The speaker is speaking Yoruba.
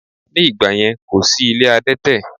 Ní ìgbàyẹn, kò sí ilé adẹ́tẹ̀